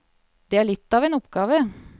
Det er litt av en oppgave.